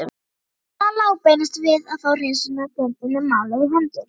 Það lá beinast við að fá hreinsunardeildinni málið í hendur.